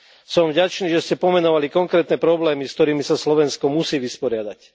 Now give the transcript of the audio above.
Som vďačný, že ste pomenovali konkrétne problémy, s ktorými sa Slovensko musí vysporiadať.